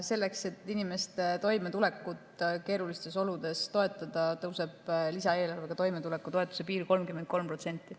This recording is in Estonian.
Selleks, et inimeste toimetulekut keerulistes oludes toetada, tõuseb toimetulekupiir lisaeelarvega 33%.